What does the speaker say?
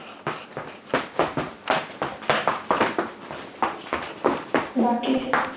बाकी?